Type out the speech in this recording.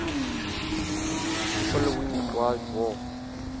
following world war